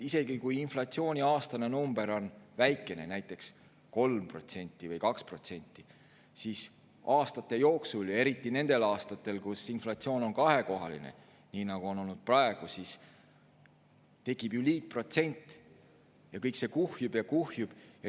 Isegi kui inflatsiooni aastane number on väikene, näiteks 2% või 3%, siis aastate jooksul – eriti nendel aastatel, kus inflatsiooni on kahekohaline, nii nagu on olnud praegu – tekib ju liitprotsent, ja kõik see kuhjub ja kuhjub.